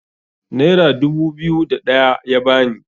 naira dubu biyu da ɗaya ya bani